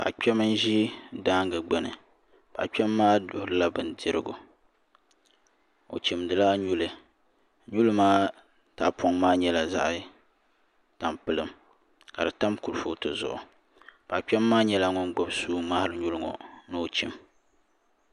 Paɣa kpɛm n ʒi daangi gbuni paɣa kpɛm maa duɣurila bindirigu o chimdila nyuli nyuli maa tahapoŋ maa nyɛla zaɣ tampilim ka di tam kurifooti zuɣu paɣ kpɛm maa nyɛla ŋun gbubi suu ŋmaari nyuli maa ni o chim